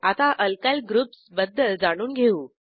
आता alkyl groups बद्दल जाणून घेऊ